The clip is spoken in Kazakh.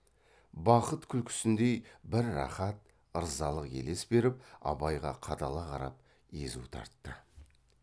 бақыт күлкісіндей бір рахат ырзалық елес беріп абайға қадала қарап езу тартты